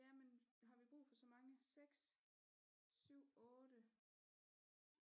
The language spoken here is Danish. Ja men har vi brug for så mange 6 7 8